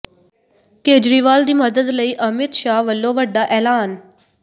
ਕੇਜਰੀਵਾਲ ਦੀ ਮਦਦ ਲਈ ਅਮਿਤ ਸ਼ਾਹ ਵੱਲੋਂ ਵੱਡਾ ਐਲਾਨ